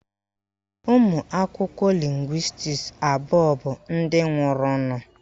Ụmụakwụkwọ lịngwịstis abụọ bụ ndị nwụrụnụ.